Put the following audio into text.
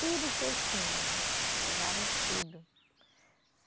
Tudo que eu tinha, levaram tudo.